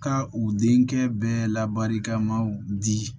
Ka u denkɛ bɛɛ labarikamaw di